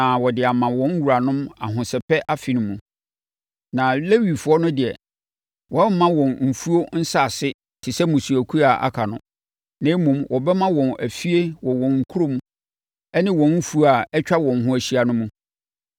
na wɔde ama wɔn wuranom Ahosɛpɛ Afe no mu. Na Lewifoɔ no deɛ, wɔremma wɔn mfuo nsase te sɛ mmusuakuo a aka no, na mmom, wɔbɛma wɔn afie wɔ wɔn nkuro ne wɔn mfuo a atwa wɔn ho ahyia no mu.